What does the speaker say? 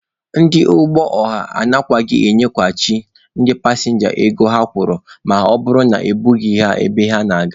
Ndị ụgbọ ọha anaghịkwa enyeghachi ndị pasịnja ego ụgbọ ha kwụrụ ma ha e burughị ha ebe ha na-aga.